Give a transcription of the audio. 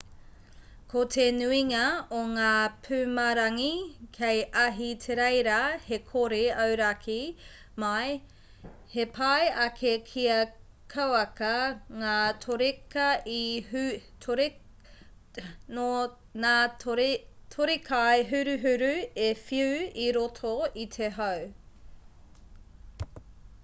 ko te nuinga o ngā pumarangi kei ahitereiria he kore auraki mai he pai ake kia kauaka ngā torekaihuruhuru e whiu i roto i te hau